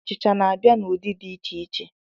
Achịcha n'abịa n'ụdị dị iche iche.